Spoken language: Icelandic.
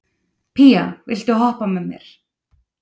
Pía, viltu hoppa með mér?